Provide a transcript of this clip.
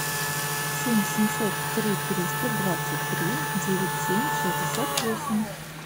семь семьсот три триста двадцать три девять семь шестьдесят восемь